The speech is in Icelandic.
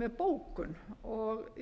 með bókun